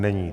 Není.